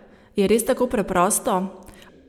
Je res tako preprosto?